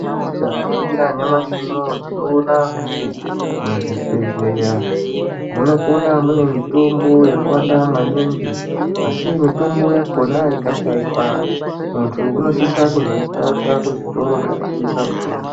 Tikaningira nyamashi unowu tinoona kuti muzvibhedhlera munokonaune mitombo yakawanda maningi asi mitombo yakona ikashaikwa muntu unosisa kuzvitoro zvinotengeswa mitombo.